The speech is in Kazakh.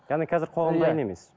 яғни қазір қоғам дайын емес